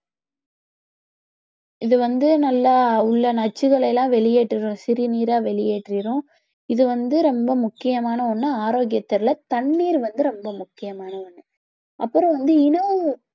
இது வந்து நல்லா உள்ள நச்சுக்களை எல்லாம் சிறுநீரா வெளியேற்றிடும் இது வந்து ரொம்ப முக்கியமான ஒண்ணு ஆரோக்கியத்துல தண்ணீர் வந்து ரொம்ப முக்கியமான ஒண்ணு அப்புறம் வந்து